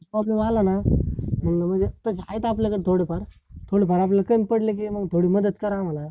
problems आला ना मग आहेत आपल्याकडे थोडे फार थोडं फार कमी पडले की मग थोडी मदत करा आम्हाला